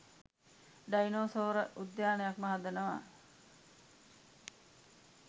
Dinosaur උද්‍යානයක්ම හදනවා.